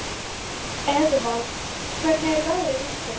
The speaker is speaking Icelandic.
Eðvald, hvernig er veðrið úti?